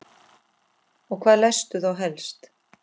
Og hvað lestu þá helst?